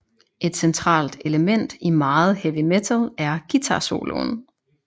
Et centralt element i meget heavy metal er guitarsoloen